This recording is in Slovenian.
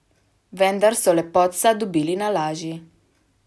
Vendar so lepotca dobili na laži ...